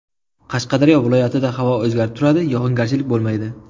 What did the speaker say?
Qashqadaryo viloyatida havo o‘zgarib turadi, yog‘ingarchilik bo‘lmaydi.